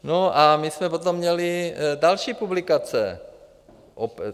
No a my jsme potom měli další publikace.